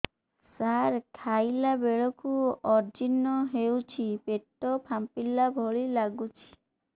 ସାର ଖାଇଲା ବେଳକୁ ଅଜିର୍ଣ ହେଉଛି ପେଟ ଫାମ୍ପିଲା ଭଳି ଲଗୁଛି